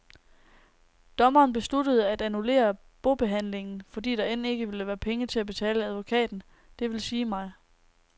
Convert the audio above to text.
Dommeren besluttede at annullere bobehandlingen, fordi der end ikke ville være penge til at betale advokaten, det vil sige mig.